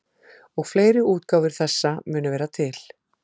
Og fleiri útgáfur þessa munu vera til.